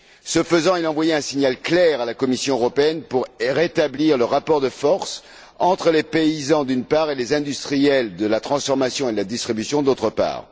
Ce faisant, il a envoyé un signal clair à la Commission européenne pour rétablir le rapport de force entre les paysans, d'une part, et les industriels de la transformation et de la distribution, d'autre part.